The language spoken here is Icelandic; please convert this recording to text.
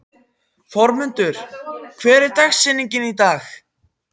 Þormundur, hver er dagsetningin í dag?